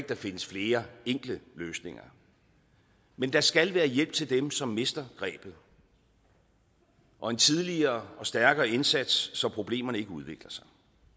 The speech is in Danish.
der findes flere enkle løsninger men der skal være hjælp til dem som mister grebet og en tidligere og stærkere indsats så problemerne ikke udvikler sig